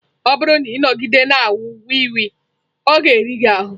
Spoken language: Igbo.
Ọ bụrụ na ị nọgide na-aṅụ wii wii, ọ ga-eri ahụ.